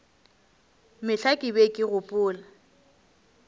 mehla ke be ke gopola